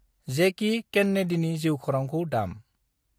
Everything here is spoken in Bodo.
जेकि केन्नेडिनि जिउ खौरांखौ दाम।